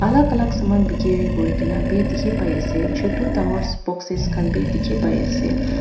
Alak alak saman bekeri kure kena beh dekhe pai ase chutu dangor sboxes khan beh dekhe pai ase.